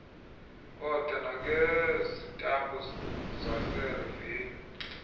oda nangezitampu zaserevenyu